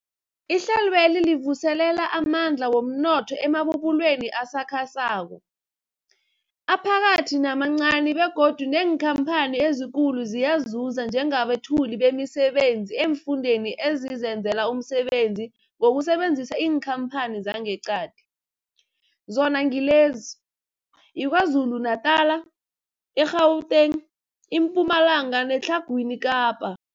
Ihlelweli livuselela amandla womnotho emabubulweni asakhasako, aphakathi namancani begodu neenkhamphani ezikulu ziyazuza njengabethuli bemisebenzi eemfundeni ezizenzela umsebenzi ngokusebenzisa iinkhamphani zangeqadi, zona ngilezi, yiKwaZulu-Natala, i-Gauteng, iMpumalanga neTlhagwini Kapa.